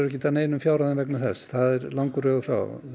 ekkert af neinum fjárhæðum vegna þess það er langur vegur frá